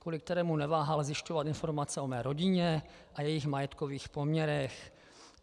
Kvůli kterému neváhal zjišťovat informace o mé rodině a jejích majetkových poměrech.